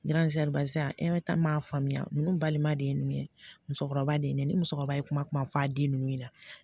m'a faamuya ninnu balima de ye ninnu ye musokɔrɔba de ye ne ni musokɔrɔba ye kuma f'a den ninnu ɲɛna